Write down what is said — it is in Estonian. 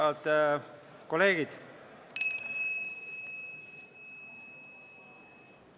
Head kolleegid!